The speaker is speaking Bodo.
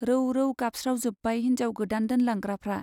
रौ रौ गाबस्रावजोब्बाय हिन्जाव गोदान दोनलांग्राफ्रा।